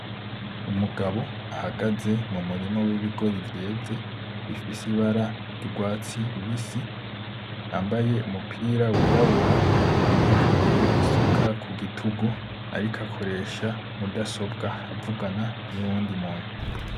Umugabo ahagaze mumurima w'ibigori vyeze bifise ibara ry'urwatsi rubisi yambaye umupira w'irabura yikoreye isuka ku rutugu ariko akoresha mudasobwa avugisha uyundi muntu.